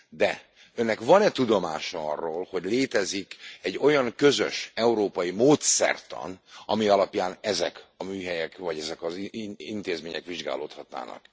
De önnek van e tudomása arról, hogy létezik egy olyan közös európai módszertan, ami alapján ezek a műhelyek vagy ezek az intézmények vizsgálódhatnának?